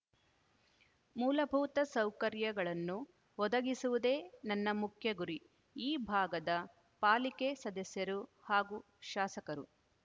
ಮೂಲಭೂತ ಸೌಕರ‍್ಯಗಳನ್ನು ಒದಗಿಸುವುದೇ ನನ್ನ ಮುಖ್ಯ ಗುರಿ ಈ ಭಾಗದ ಪಾಲಿಕೆ ಸದಸ್ಯರು ಹಾಗೂ ಶಾಸಕರು